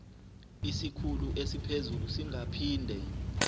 isikhulu esiphezulu singaphinde